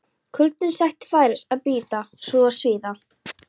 Kuldinn sætti færis að bíta og svíða.